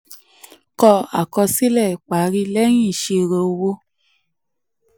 kọ àkọsílẹ̀ ìparí lẹ́yìn ìṣirò ìṣirò owó.